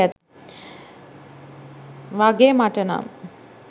වගේ මටනම්.